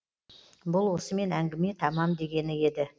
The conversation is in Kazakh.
бұл осымен әңгіме тамам дегені еді